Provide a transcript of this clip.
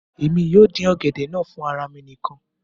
èmi yóò dín ọ̀gẹ̀dẹ̀ náà fún ara mi nìkan